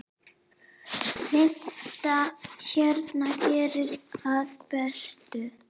Fimmtán hérna, geri aðrir betur!